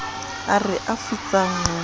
ao re a futsang ho